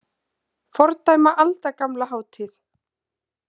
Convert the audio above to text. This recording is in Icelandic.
Fordæma aldagamla hátíð